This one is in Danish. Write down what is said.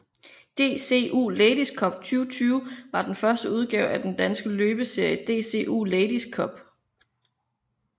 DCU Ladies Cup 2020 var den første udgave af den danske løbsserie DCU Ladies Cup